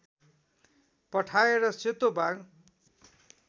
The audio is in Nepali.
पठाएर सेतो बाघ